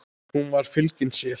Hún var fylgin sér.